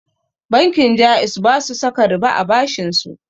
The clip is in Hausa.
Bankin ja'iz basu saka riba a bashinsu